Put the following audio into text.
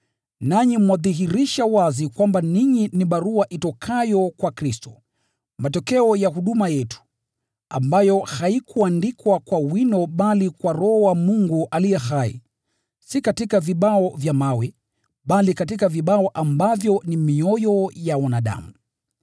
Nanyi mwadhihirisha wazi kwamba ninyi ni barua itokayo kwa Kristo, matokeo ya huduma yetu, ambayo haikuandikwa kwa wino bali kwa Roho wa Mungu aliye hai, si katika vibao vya mawe, bali katika vibao ambavyo ni mioyo ya wanadamu.